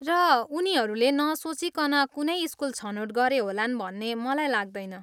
र उनीहरूले नसोचिकन कुनै स्कुल छनोट गरे होलान् भन्ने मलाई लाग्दैन।